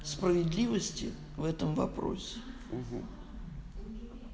справедливости в этом вопросе у-у